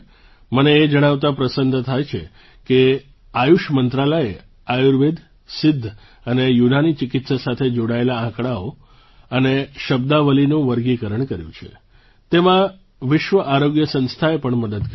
મને એ જણાવતા પ્રસન્નતા થાય છે કે આયુષ મંત્રાલયે આયુર્વેદ સિદ્ધ અને યુનાની ચિકિત્સા સાથે જોડાયેલા આંકડાઓ અને શબ્દાવલીનું વર્ગીકરણ કર્યું છે તેમાં વિશ્વ આરોગ્ય સંસ્થાએ પણ મદદ કરી છે